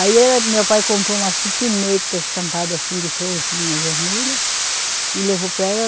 Aí meu pai comprou uma citineta estampada assim de florzinha vermelha e levou para ela.